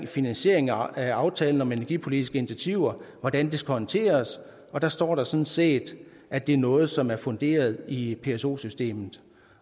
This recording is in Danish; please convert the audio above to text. finansiering af aftalen om energipolitiske initiativer hvordan det skal håndteres og der står der sådan set at det er noget som er funderet i pso systemet